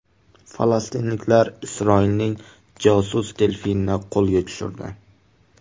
Falastinliklar Isroilning josus delfinini qo‘lga tushirdi.